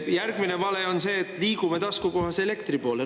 Järgmine vale on see, et liigume taskukohase elektri poole.